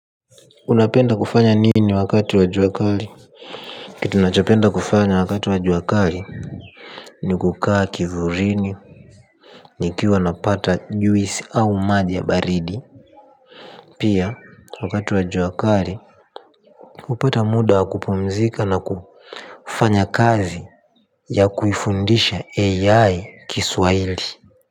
Unapenda kufanya nini wakati wa jua kali? Kitu ninachopenda kufanya wakati wa jua kali ni kukaa kivulini nikiwa napata juisi au majii ya baridi. Pia wakati wa jua kali hupata muda wa kupumzika na kufanya kazi ya kuifundisha AI kiswahili.